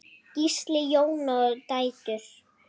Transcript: Gísli, Jóna og dætur.